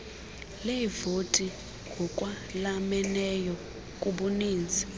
leevoti ngokwalameneyo kubuninzi